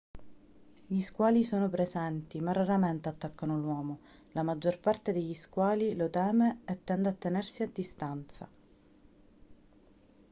gli squali sono presenti ma raramente attaccano l'uomo la maggior parte degli squali lo teme e tende a tenersi a distanza